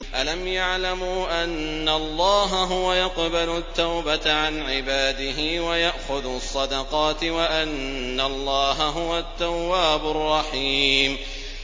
أَلَمْ يَعْلَمُوا أَنَّ اللَّهَ هُوَ يَقْبَلُ التَّوْبَةَ عَنْ عِبَادِهِ وَيَأْخُذُ الصَّدَقَاتِ وَأَنَّ اللَّهَ هُوَ التَّوَّابُ الرَّحِيمُ